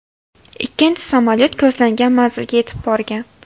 Ikkinchi samolyot ko‘zlangan manzilga yetib borgan.